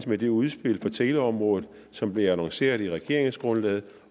med det udspil på teleområdet som blev annonceret i regeringsgrundlaget